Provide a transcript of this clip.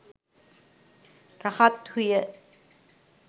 රහත්හු ය.